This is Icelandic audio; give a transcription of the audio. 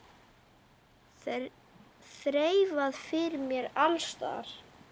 Þreifað fyrir mér alls staðar.